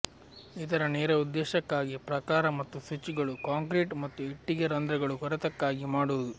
ಇದರ ನೇರ ಉದ್ದೇಶಕ್ಕಾಗಿ ಪ್ರಾಕಾರ ಮತ್ತು ಸ್ವಿಚ್ಗಳು ಕಾಂಕ್ರೀಟ್ ಮತ್ತು ಇಟ್ಟಿಗೆ ರಂಧ್ರಗಳು ಕೊರೆತಕ್ಕಾಗಿ ಮಾಡುವುದು